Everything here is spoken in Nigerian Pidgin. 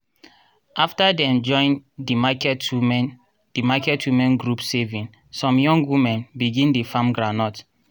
after dem join di market women di market women group saving some young women begin dey farm groundnut.